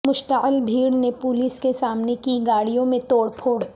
مشتعل بھیڑ نے پولیس کے سامنے کی گاڑیوں میں توڑ پھوڑ